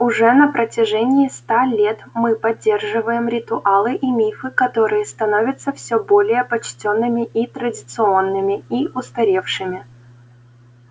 уже на протяжении ста лет мы поддерживаем ритуалы и мифы которые становятся все более почтенными и традиционными и устаревшими